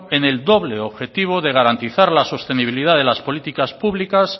en el doble objetivo de garantizar la sostenibilidad de las políticas públicas